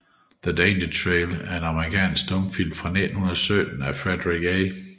The Danger Trail er en amerikansk stumfilm fra 1917 af Frederick A